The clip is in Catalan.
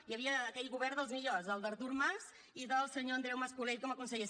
hi havia aquell govern dels millors el d’artur mas i del senyor andreu mas colell com a conseller